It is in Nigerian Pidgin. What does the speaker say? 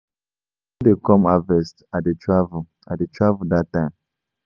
I no dey come harvest I dey travel I dey travel dat time